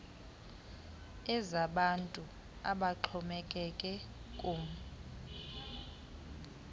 ezabantu abaxhomekeke kum